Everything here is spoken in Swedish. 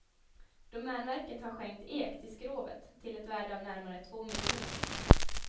Domänverket har skänkt ek till skrovet till ett värde av närmare två miljoner.